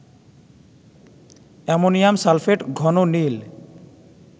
ammonium sulphate ঘন নীল